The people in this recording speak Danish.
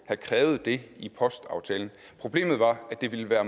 have krævet det i postaftalen problemet var at det ville være